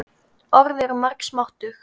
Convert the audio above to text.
Orð eru margs máttug.